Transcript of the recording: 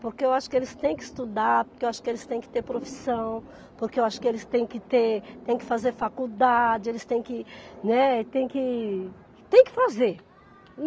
Porque eu acho que eles têm que estudar, porque eu acho que eles têm que ter profissão, porque eu acho que eles têm que ter, têm que fazer faculdade, eles têm que, né, tem que, tem que fazer.